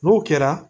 N'o kɛra